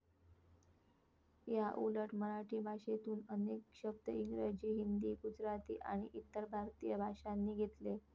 याउलट मराठी भाषेतून अनेक शब्द इंग्रजी, हिंदी, गुजराती, आणि इतर भारतीय भाषांनी घेतले.